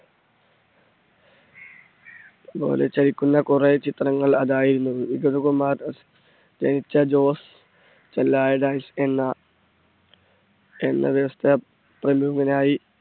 പോലെ ചലിക്കുന്ന കുറെ ചിത്രങ്ങൾ അതായിരുന്നു വിഗതകുമാരൻ ജോസ് എന്ന എന്ന വ്യവസായി പ്രമുഖനായി,